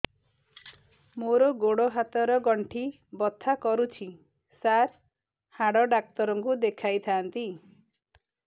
ମୋର ଗୋଡ ହାତ ର ଗଣ୍ଠି ବଥା କରୁଛି ସାର ହାଡ଼ ଡାକ୍ତର ଙ୍କୁ ଦେଖାଇ ଥାନ୍ତି